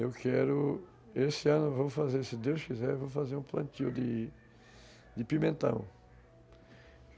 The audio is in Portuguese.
Eu quero... esse ano eu vou fazer, se Deus quiser, vou fazer um plantio de de pimentão.